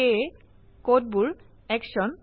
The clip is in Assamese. সেয়ে এখন কর্মরত কোড দেখি